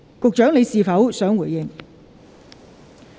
局長，你是否想回應？